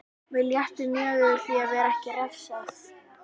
Mér létti mjög yfir því að vera ekki refsað.